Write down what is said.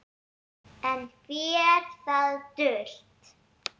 Enn fer það dult